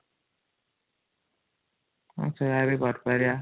ହଂ ସେଇୟା ହ୍ନି କରିପାରିବ |